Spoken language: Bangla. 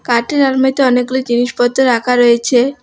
কাঠের আলমারিতে অনেকগুলো জিনিসপত্র রাখা রয়েছে।